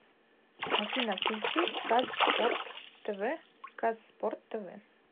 афина включи казспорт тэ вэ казспорт тэ вэ